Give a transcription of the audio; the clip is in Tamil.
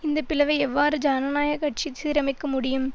இந்த பிளவை எவ்வாறு ஜனநாயக கட்சி சிரமைக்க முடியும்